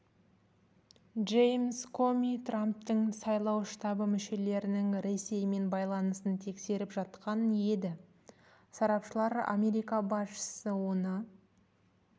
джеймс коми трамптың сайлау штабы мүшелерінің ресеймен байланысын тексеріп жатқан еді сарапшылар америка басшысы оны